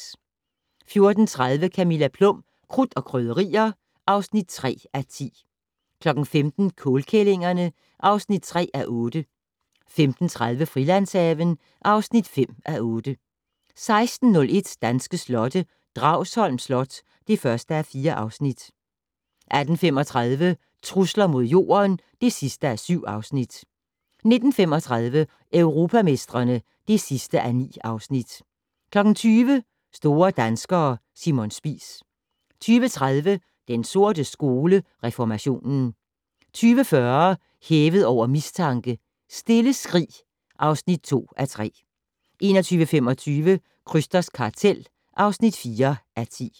14:30: Camilla Plum - Krudt og Krydderier (3:10) 15:00: Kålkællingerne (3:8) 15:30: Frilandshaven (5:8) 16:01: Danske slotte: Dragsholm Slot (1:4) 18:35: Trusler mod Jorden (7:7) 19:35: Europamestrene (9:9) 20:00: Store danskere - Simon Spies 20:30: Den sorte skole: Reformationen 20:40: Hævet over mistanke: Stille skrig (2:3) 21:25: Krysters kartel (4:10)